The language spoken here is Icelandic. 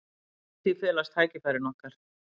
Í því felast tækifæri okkar.